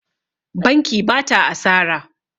Banki ba ta asara.